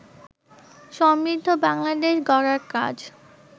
সমৃদ্ধ বাংলাদেশ গড়ার কাজ